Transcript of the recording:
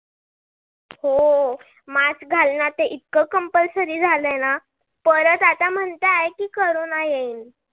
हो. mask घालण आता इतक compulsory झालाय ना परत आता म्हणताय की corona येईल.